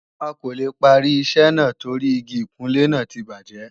A kò lè parí iṣẹ́ náà torí Igi ìkunlé náà ti bàjẹ́